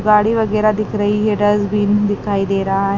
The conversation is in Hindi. गाड़ी वगैरह दिख रही है डस्टबिन दिखाई दे रहा है।